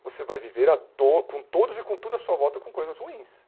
você vai viver a to com todos e com tudo à sua volta com coisas ruins.